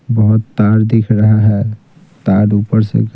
बहुत तार दिख रहा है तार ऊपर से--